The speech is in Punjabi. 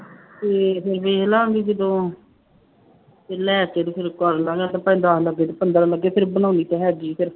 ਤੇ ਫਿਰ ਵੇਖ ਲਵਾਂਗੇ ਜਦੋਂ ਲੈ ਕੇ ਤੇ ਫਿਰ ਕਰ ਲਵਾਂਗੇ ਤੇ ਭਾਵੇਂ ਦਸ ਲੱਗੇ ਤੇ ਪੰਦਰਾਂ ਲੱਗੇ ਫਿਰ ਬਣਾਉਣੀ ਤਾਂ ਹੈਗੀ ਫਿਰ।